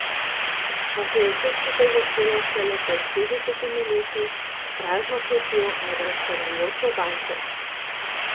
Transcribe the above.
Pa se je vse skupaj začelo šele pred petdesetimi leti, s prazno kletjo nad razpadajočo bajto.